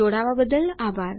જોડવા બદલ આભાર